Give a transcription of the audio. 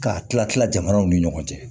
K'a tila tila jamanaw ni ɲɔgɔn cɛ